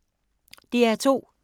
DR2